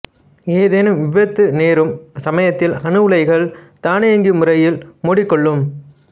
ஏதேனும் விபத்து நேரும் சமயத்தில் அணு உலைகள் தானியங்கி முறையில் மூடிக்கொள்ளும்